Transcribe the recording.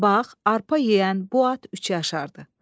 Bax, arpa yeyən bu at üç yaşardı.